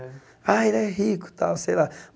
Ah, ele é rico e tal, sei lá.